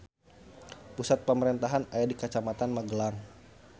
Pusat pamarentahan aya di Kacamatan Magelang.